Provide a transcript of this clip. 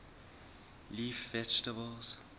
leaf vegetables